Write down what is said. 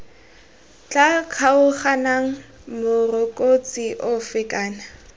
tla kgaoganang morokotso ofe kana